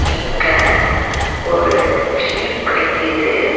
இங்க ஒரு ஜீப் நிக்கிது.